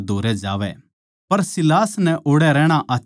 पर सीलास नै ओड़ै रहणा आच्छा लाग्या